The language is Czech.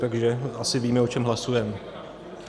Takže asi víme, o čem hlasujeme.